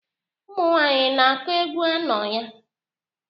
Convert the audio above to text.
Ụmụ nwaanyị na-akụ egwu anọ ya?